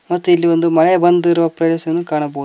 ಮತ್ತು ಇಲ್ಲಿ ಒಂದು ಮಳೆ ಬಂದಿರುವ ಪ್ರವೇಶನು ಕಾಣಬಹು--